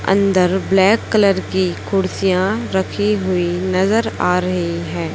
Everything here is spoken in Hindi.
अंदर ब्लैक कलर की कुर्सियां रखी हुई नजर आ रही है।